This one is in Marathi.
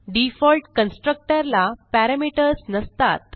डिफॉल्ट कन्स्ट्रक्टर ला पॅरामीटर्स नसतात